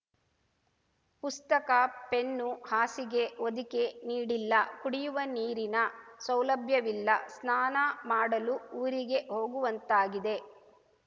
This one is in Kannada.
ಪುಸ್ತಕ ಪೆನ್ನು ಹಾಸಿಗೆ ಹೊದಿಕೆ ನೀಡಿಲ್ಲ ಕುಡಿಯುವ ನೀರಿನ ಸೌಲಭ್ಯವಿಲ್ಲ ಸ್ನಾನ ಮಾಡಲು ಊರಿಗೆ ಹೋಗುವಂತಾಗಿದೆ